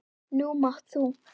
Nú mátt þú.